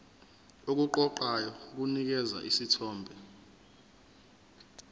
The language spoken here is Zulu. okuqoqayo kunikeza isithombe